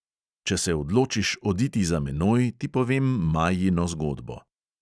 Če se odločiš oditi za menoj, ti povem majino zgodbo.